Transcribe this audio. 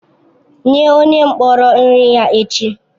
Nye onye mkpọrọ nri ya echi!